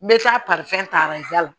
N bɛ taa ta la